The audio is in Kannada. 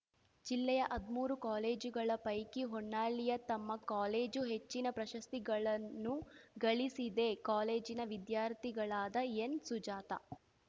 ಜಿಲ್ಲೆಯ ಹದ್ಮೂರು ಕಾಲೇಜುಗಳ ಪೈಕಿ ಹೊನ್ನಾಳಿಯ ತಮ್ಮ ಕಾಲೇಜು ಹೆಚ್ಚಿನ ಪ್ರಶಸ್ತಿಗಳನ್ನು ಗಳಿಸಿದೆ ಕಾಲೇಜಿನ ವಿದ್ಯಾರ್ಥಿಗಳಾದ ಎನ್‌ ಸುಜಾತಾ